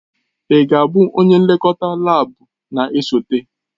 Ị ga-abụ onye nlekọta laabu na-esote?